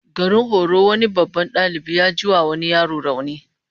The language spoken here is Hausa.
Garin horo wani babban dalibi ya jiwa wani yaro rauni